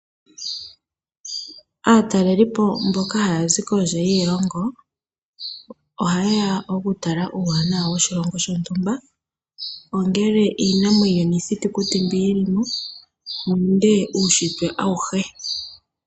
Aatalelipo mboka haya zi kondje yiilongo, oha yeya oku tala uuwanawa woshilongo shontumba, ongele iinamwenyo niithitukuti mbyono yi limo, nenge uunshitwe awuhe.